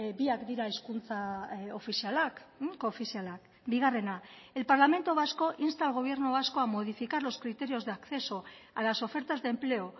biak dira hizkuntza ofizialak koofizialak bigarrena el parlamento vasco insta al gobierno vasco a modificar los criterios de acceso a las ofertas de empleo